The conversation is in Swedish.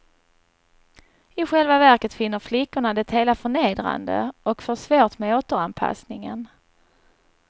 I själva verket finner flickorna det hela förnedrande och får svårt med återanpassningen.